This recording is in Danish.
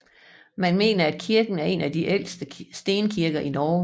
Man mener at kirken er en af de ældste stenkirker i Norge